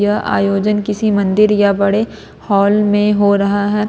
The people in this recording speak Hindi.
यह आयोजन किसी मंदिर या बड़े हॉल में हो रहा है।